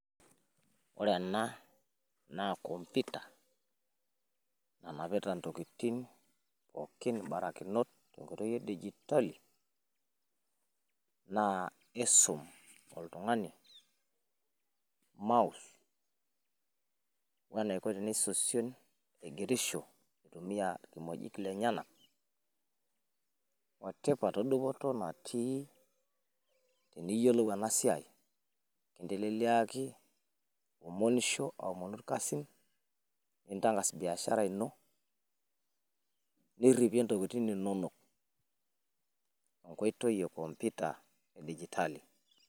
ore ena naa computer nanapita ntokitin pooki edijitali naa isum oltung'ani mousse, weniko pee esosion aigerisho itumia irkimojik lenyanak , otipat odupoto natii tiniyiolou ena siai , amu ekiteleliaki iwomonisho aomonu ilkasin nintang'as biashara ino, niripie intokitin inonok.